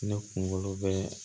Ne kunkolo bɛ